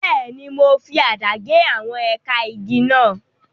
Bẹ́ẹ̀ni, mo fi àdá gé àwọn ẹ̀ka igi náà.